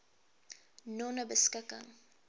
nonebeskikking